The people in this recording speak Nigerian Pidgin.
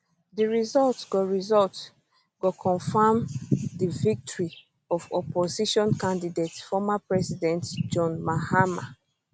di result go result go confam di victory of opposition candidate former president john mahama